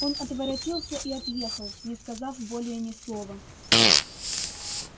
он отворотился и отъехал не сказав более ни слова